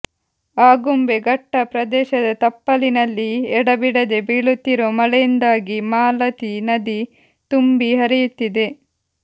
ಆಗುಂಬೆ ಘಟ್ಟ ಪ್ರದೇಶದ ತಪ್ಪಲಿನಲ್ಲಿ ಎಡಬಿಡದೆ ಬೀಳುತ್ತಿರುವ ಮಳೆಯಿಂದಾಗಿ ಮಾಲತಿ ನದಿ ತುಂಬಿ ಹರಿಯುತ್ತಿದೆ